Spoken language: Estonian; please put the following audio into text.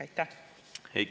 Aitäh!